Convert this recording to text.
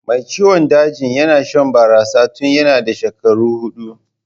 Mai ciwon dajin yana shan barasa tun yanna da shekaru hudu.